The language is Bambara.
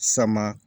Sama